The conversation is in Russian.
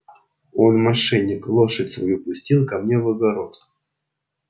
он мошенник лошадь свою пустил ко мне в огород